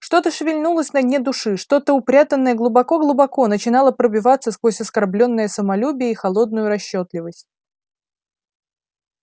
что-то шевельнулось на дне души что-то упрятанное глубоко-глубоко начинало пробиваться сквозь оскорблённое самолюбие и холодную расчётливость